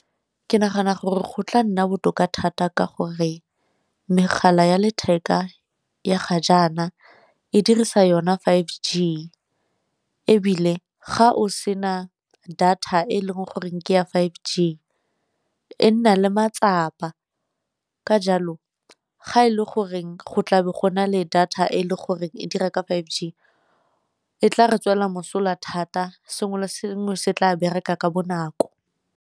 Ke nagana gore go tla nna botoka thata ka gore megala ya letheka ya ga jaana e dirisa yona five G, ebile ga o sena data e leng goreng ke ya five G e nna le matsapa. Ka jalo ga e le goreng go tla be go na le data e le goreng e dira ka five G, e tla re tswela mosola thata sengwe le sengwe se tla bereka ka bonako.